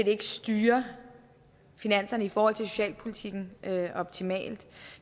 ikke styrer finanserne i forhold til socialpolitikken optimalt